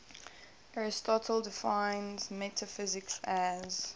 aristotle defines metaphysics as